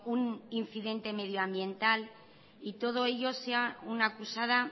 un incidente medioambiental y todo ello sea una acusada